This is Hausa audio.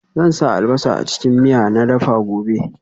Zan sa albasa a cikin miya na dafa gobe